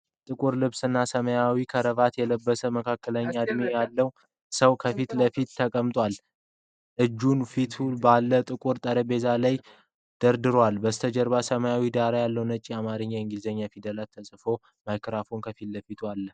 ጥቁር ልብስና ሰማያዊ ክራቫት የለበሰ፣ መካከለኛ እድሜ ያለው ሰው ከፊት ለፊት ተቀምጧል። እጆቹን በፊቱ ባለው ጥቁር ጠረጴዛ ላይ ደራርቧል። ከበስተጀርባ ሰማያዊ ዳራ ላይ ነጭ የአማርኛና የእንግሊዘኛ ፊደላት ተጽፈዋል። ማይክሮፎን ከፊቱ አለ።